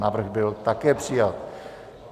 Návrh byl také přijat.